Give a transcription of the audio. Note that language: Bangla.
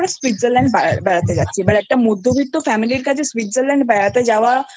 ওরা Switzerlandবেড়াতে যাচ্ছে এবার একটা মধ্যবর্তী Family এর কাছে Switzerlandবেড়াতে যাওয়া